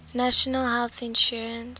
national health insurance